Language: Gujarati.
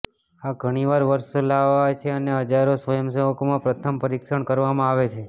આ ઘણીવાર વર્ષો લાવે છે અને હજારો સ્વયંસેવકોમાં પ્રથમ પરીક્ષણ કરવામાં આવે છે